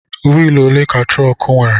Wịịlụ òlé ka trọọku nwèrè?